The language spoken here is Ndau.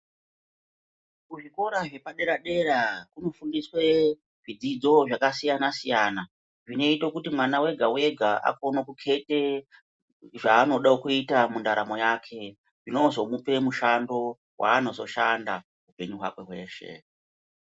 Muzvikora zvepadera dera munofundiswa zvidzidzo zvakasiyana siyana zvinoita kuti mwana wega wega akono kukete zvaanoda kuita mundaramo yake zvinozomupe mushando waanozoshanda upenyu hwake hweshe.